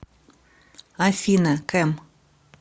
афина кэм